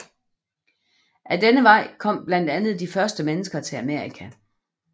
Ad denne vej kom blandt andet de første mennesker til Amerika